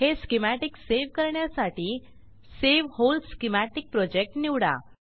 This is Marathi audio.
हे स्कीमॅटिक सेव्ह करण्यासाठी सावे व्होल स्कीमॅटिक प्रोजेक्ट निवडा